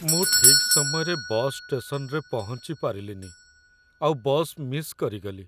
ମୁଁ ଠିକ୍ ସମୟରେ ବସ୍ ଷ୍ଟେସନ୍‌ରେ ପହଞ୍ଚି ପାରିଲିନି ଆଉ ବସ୍ ମିସ୍ କରିଗଲି ।